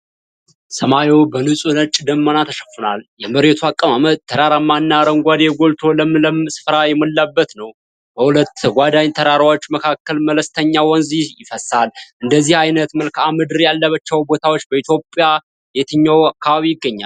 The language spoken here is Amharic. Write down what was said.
ሰማዩ በንጹህ ነጭ ደመና ተሸፍኗል። የመሬቱ አቀማመጥም ተራራማ እና አረንጓዴ ጎልቶ ለምለም ስፍራ የሞላበት ነው። በሁለት ተጓዳኝ ተራራዎች መካከል መለስተኛ ወንዝ ይፈሳል። እንደዚህ አይነት መልከአ ምድር ያለባቸው ቦታዎች በኢትዮጵያ የትኛው አካባቢ ይገኛል?